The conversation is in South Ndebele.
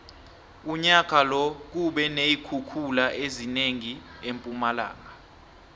unyaka lo kube neenkhukhula ezinengi empumalanga